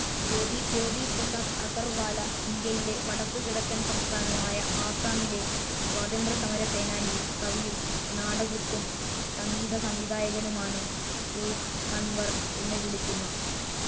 ജ്യോതി പ്രസാദ് അഗർവാല, ഇന്ത്യയിലെ വടക്കുകിഴക്കൻ സംസ്ഥാനമായ ആസ്സമിലെ സ്വാതന്ത്ര്യസമരസേനാനിയും, കവിയും, നാടകൃത്തും, സംഗീത സംവിധായകനുമാണ്. രൂപ്കൺവർ എന്ന് വിളിക്കുന്ന